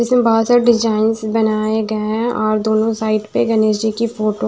इसमें बोहोत सारे डिजाइंस बनाए गए हैं और दोनों साइड पे गणेश जी की फोटो --